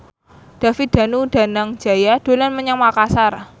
David Danu Danangjaya dolan menyang Makasar